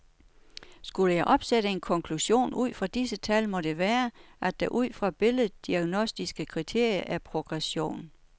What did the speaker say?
Skulle jeg opsætte en konklusion ud fra disse tal, må det være, at der ud fra billeddiagnostiske kriterier er progression